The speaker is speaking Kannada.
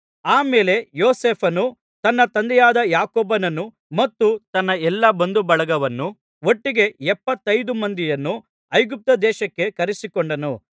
ಆ ಮೇಲೆ ಯೋಸೇಫನು ತನ್ನ ತಂದೆಯಾದ ಯಾಕೋಬನನ್ನೂ ಮತ್ತು ತನ್ನ ಎಲ್ಲಾ ಬಂಧುಬಳಗವನ್ನೂ ಒಟ್ಟಿಗೆ ಎಪ್ಪತ್ತೈದು ಮಂದಿಯನ್ನು ಐಗುಪ್ತದೇಶಕ್ಕೆ ಕರೆಸಿಕೊಂಡನು